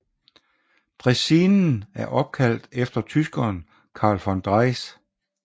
Dræsinen er opkaldt efter tyskeren Karl von Drais